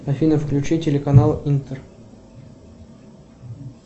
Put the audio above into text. афина включи телеканал интер